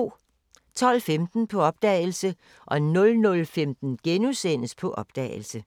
12:15: På opdagelse 00:15: På opdagelse *